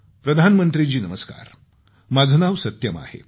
प्रधानमंत्री जी नमस्कार माझं नाव सत्यम आहे